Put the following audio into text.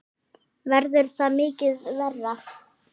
Verður það mikið verra?